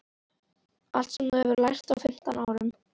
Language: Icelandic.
Allt sem þú hefur lært á fimm árum.